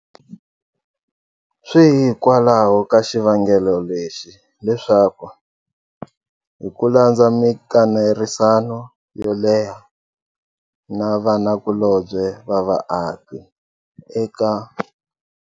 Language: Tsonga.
Swi hikwalaho ka xivangelo lexi leswaku, hi ku landza mikanerisano yo leha na vanakulobye va vaaki eka.